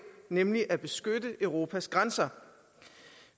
nemlig at beskytte europas grænser